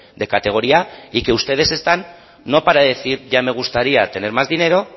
de categoría y que ustedes están no para decir ya me gustaría tener más dinero